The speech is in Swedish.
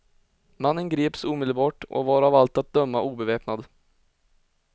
Mannen greps omedelbart och var av allt att döma obeväpnad.